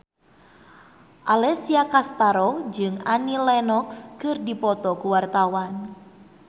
Alessia Cestaro jeung Annie Lenox keur dipoto ku wartawan